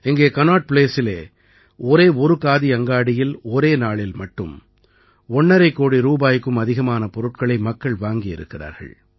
இங்கே கனாட் ப்ளேஸிலே ஒரே ஒரு காதி அங்காடியில் ஒரே நாளில் மட்டும் ஒண்ணரை கோடி ரூபாய்க்கும் அதிகமான பொருட்களை மக்கள் வாங்கியிருக்கிறார்கள்